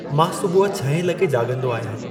मां सुबह छहें लॻे जाॻंदो आहियां।